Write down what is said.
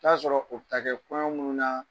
i bi t''a sɔrɔ o bɛ ta kɛ kɔɲɔ minnu na